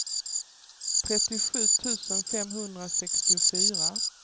trettiosju tusen femhundrasextiofyra